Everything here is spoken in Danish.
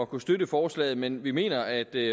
kunne støtte forslaget men at vi mener at det